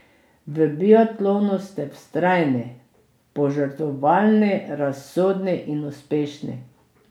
V biatlonu ste vztrajni, požrtvovalni, razsodni in uspešni.